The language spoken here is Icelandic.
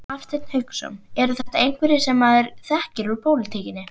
Hafsteinn Hauksson: Eru þetta einhverjir sem maður þekkir úr pólitíkinni?